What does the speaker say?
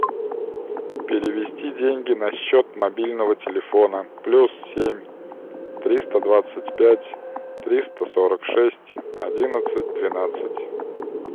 перевести деньги на счет мобильного телефона плюс семь триста двадцать пять триста сорок шесть одиннадцать двенадцать